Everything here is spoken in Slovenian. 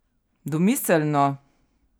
Domiselno!